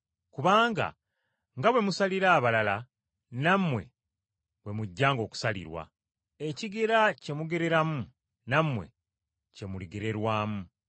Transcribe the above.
Kubanga nga bwe musalira abalala nammwe bwe mujjanga okusalirwa. Ekigera kye mugereramu, nammwe kye muligererwamu.”